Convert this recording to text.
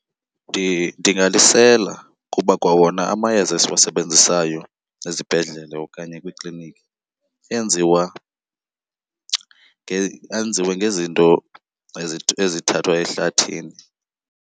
Ndingalisela kuba kwawona amayeza esiwasebenzisayo ezibhedlele okanye kwiikliniki enziwa , enziwa ngezinto ezithathwa ehlathini.